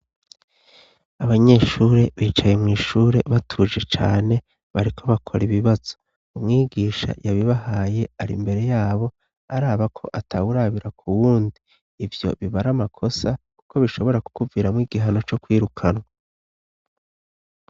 Abanyeshuri bicaye mwishure batuje cane bariko bakora ibibazo. Umwigisha yabibahaye ari mbere yabo araba ko atawurabira ku wundi. Ivyo biba ari amakosa kuko bishobora kukuviramwo igihano co kwirukanwa.